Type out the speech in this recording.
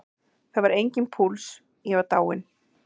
Það var enginn púls, ég var dáinn.